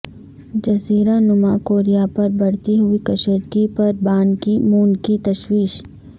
جزیرہ نما کوریا پر بڑھتی ہوئی کشیدگی پر بان کی مون کی تشویش